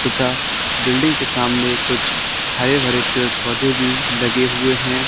तथा बिल्डिंग के सामने कुछ हरे भरे पेड़ पौधे भी लगे हुए हैं।